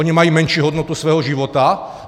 Oni mají menší hodnotu svého života?